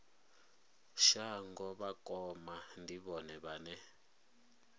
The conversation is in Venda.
shango vhakoma ndi vhone vhane